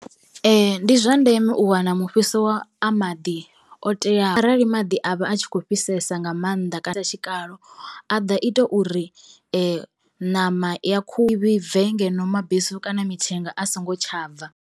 Ndi zwa ndeme u wana mufhiso wa a maḓi o teaho arali maḓi a vha a tshi khou fhisesa nga mannḓa tshikalo a ḓo ita uri ṋama ya khuhu i vhibve ngeno mabesu kana mithenga a songo tsha bva.